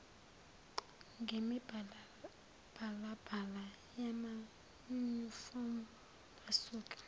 ngemibalabala yamanyufomu basuka